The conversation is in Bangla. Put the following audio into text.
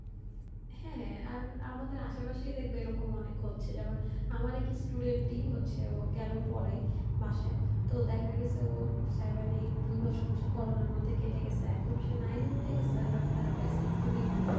হ্যাঁ হ্যাঁ আর আমাদের আশেপাশেই দেখবে এরম অনেক হচ্ছে যেমন আমার এক student ই হচ্ছে ওকে আমি পড়াই বাসাই তো দেখা গেসে ও seven eight দুই-বছর হচ্ছে Corona র মধ্যে কেটে গেসে এখন সে nine এ উঠে গেসে but তার basic খুবই দূর্বল